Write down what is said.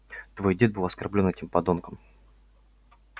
твой дед был оскорблён этим подонком